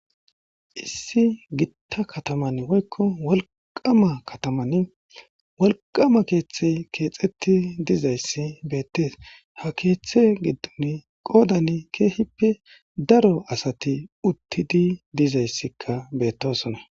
Issi gitta kataman woykko walqama kataman walqama keeththe keexetti dizayssi beettees ha keeththe giddun qoodan keehippe daro asati uttidi dizayssikka beettosona.